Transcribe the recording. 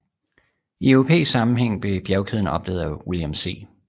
I europæisk sammenhæng blev bjergkæden opdaget af William C